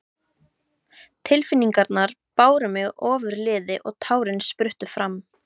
Tilfinningarnar báru mig ofurliði og tárin spruttu fram.